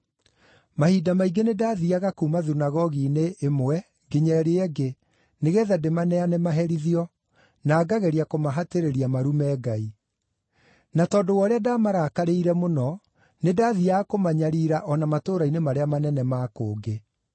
Mahinda maingĩ nĩndathiiaga kuuma thunagogi-inĩ ĩmwe nginya ĩrĩa ĩngĩ nĩgeetha ndĩmaneane maherithio, na ngageria kũmahatĩrĩria marume Ngai. Na tondũ wa ũrĩa ndaamarakarĩire mũno nĩndathiiaga kũmanyariira o na matũũra-inĩ marĩa manene ma kũngĩ.